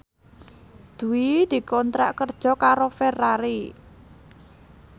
Dwi dikontrak kerja karo Ferrari